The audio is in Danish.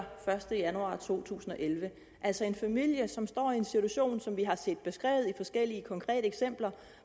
første januar to tusind og elleve altså en familie som står i en situation som vi har set beskrevet i forskellige konkrete eksempler